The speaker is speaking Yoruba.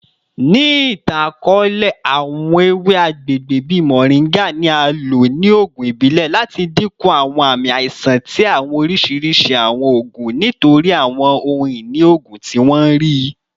Ni itan-akọọlẹ, awọn ewe agbegbe bii moringa ni a lo ni oogun ibile lati dinku awọn aami aisan ti awọn oriṣiriṣi awọn oogun nitori awọn ohun-ini oogun ti wọn rii.